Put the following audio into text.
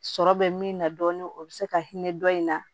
Sɔrɔ bɛ min na dɔɔnin o bɛ se ka hinɛ dɔ in na